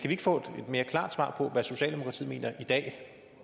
vi ikke få et mere klart svar på hvad socialdemokratiet mener i dag